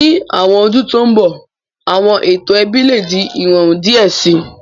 Ni awọn ọdun to nbọ, awọn eto ẹbi le di irọrun diẹ sii